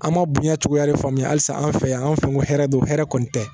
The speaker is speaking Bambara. An ma bonya cogoya de faamuya halisa an fɛ yan an fɛ yen ko hɛrɛ don hɛrɛ kɔni tɛ